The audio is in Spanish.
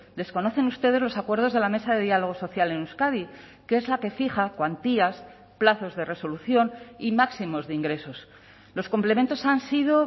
desconocen ustedes los acuerdos de la mesa de diálogo social en euskadi que es la que fija cuantías plazos de resolución y máximos de ingresos los complementos han sido